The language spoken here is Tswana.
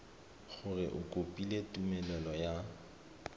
gore o kopile tumelelo ya